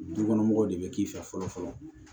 Dukɔnɔmɔgɔw de bɛ k'i fɛ fɔlɔ fɔlɔ